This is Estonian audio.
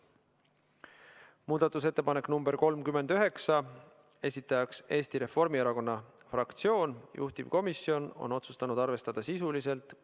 Muudatusettepanek nr 39, esitajaks on Eesti Reformierakonna fraktsioon, juhtivkomisjon on otsustanud seda arvestada sisuliselt .